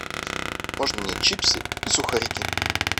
можно мне чипсы и сухарики